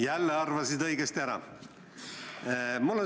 Jälle arvasid õigesti ära.